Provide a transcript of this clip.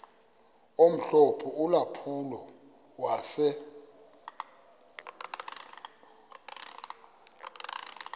omhlophe ulampulo wase